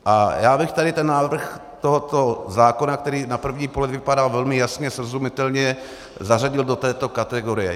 A já bych tady ten návrh tohoto zákona, který na první pohled vypadá velmi jasně srozumitelně, zařadil do této kategorie.